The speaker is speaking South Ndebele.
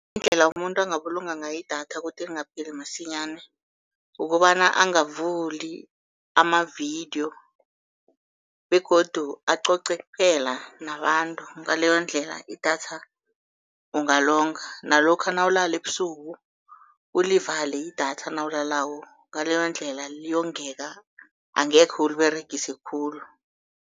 Indlela umuntu angabulunga ngayo idatha ukuthi lingapheli masinyana, ukobana angavuli amavidiyo begodu acoce kuphela nabantu, ngaleyo ndlela idatha ungalonga. Nalokha nawulala ebusuku ulivale idatha nawulalako, ngaleyo ndlela liyongeka, angekhe uliberegise khulu.